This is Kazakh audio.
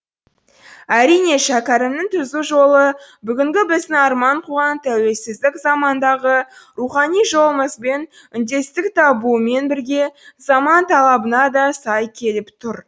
әрине шәкәрімнің түзу жолы бүгінгі біздің арман қуған тәуелсіздік замандағы рухани жолымызбен үндестік табуымен бірге заман талабына да сай келіп тұр